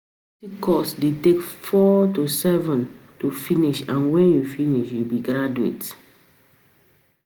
University course de take four to seven to finish and when you finish, you be graduate